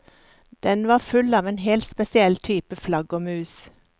Den var full av en helt spesiell type flaggermus.